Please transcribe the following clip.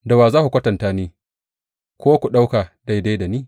Da wa za ku kwatanta ni ko ku ɗauka daidai da ni?